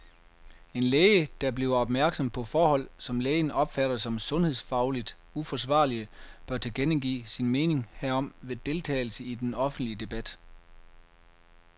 En læge, der bliver opmærksom på forhold, som lægen opfatter som sundhedsfagligt uforsvarlige, bør tilkendegive sin mening herom ved deltagelse i den offentlige debat.